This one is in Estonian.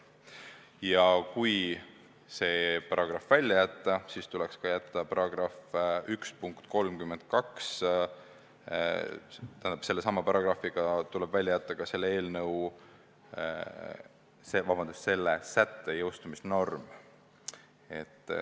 Ja kui § 1 punkt 32 välja jätta, siis tuleb välja jätta ka selle sätte jõustumisnorm.